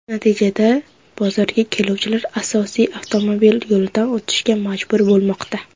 Natijada bozorga keluvchilar asosiy avtomobil yo‘lidan o‘tishga majbur bo‘lmoqda”.